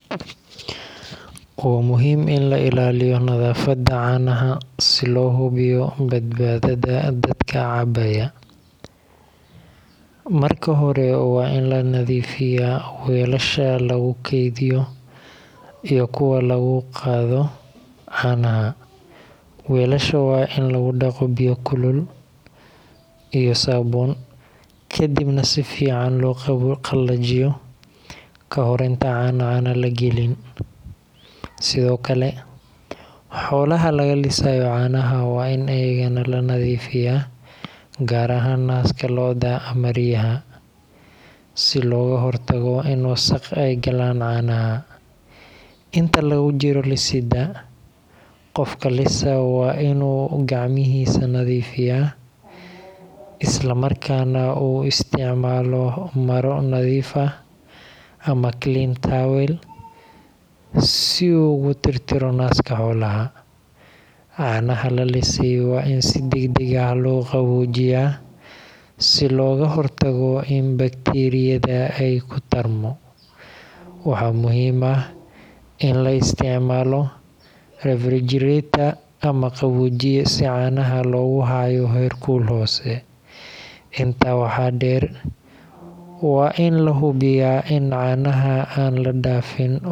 Waa muhiim in la ilaaliyo nadaafadda caanaha si loo hubiyo badbaadada dadka cabaya. Marka hore, waa in la nadiifiyaa weelasha lagu keydiyo iyo kuwa lagu qaado caanaha. Weelasha waa in lagu dhaqo biyo kulul iyo saabuun, kadibna si fiican loo qalajiyo ka hor inta aan caano la gelin. Sidoo kale, xoolaha laga lisayo caanaha waa in iyagana la nadiifiyaa, gaar ahaan naaska lo’da ama riyaha, si looga hortago in wasakh ay galaan caanaha. Inta lagu jiro lisidda, qofka lisaa waa inuu gacmihiisa nadiifiyaa, islamarkaana uu isticmaalo maro nadiif ah ama clean towel si uu u tirtiro naaska xoolaha. Caanaha la lisay waa in si degdeg ah loo qaboojiyaa, si looga hortago in bakteeriyada ay ku tarmo. Waxaa muhiim ah in la isticmaalo refrigerator ama qaboojiye si caanaha loogu hayo heerkul hoose. Intaa waxaa dheer, waa in la hubiyaa in caanaha aan la dhaafin waqtiga.